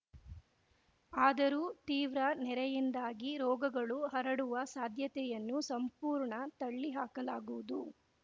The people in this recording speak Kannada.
ಆದರೂ ತೀವ್ರ ನೆರೆಯಿಂದಾಗಿ ರೋಗಗಳು ಹರಡುವ ಸಾಧ್ಯತೆಯನ್ನು ಸಂಪೂರ್ಣ ತಳ್ಳಿ ಹಾಕಲಾಗುವುದು